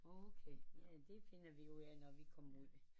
Okay det finder vi ud af når vi kommer ud